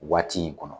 Waati in kɔnɔ